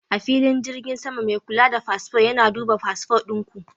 A filin jirgin sama, mai kula da fasfo yana duba fasfo ɗin ku.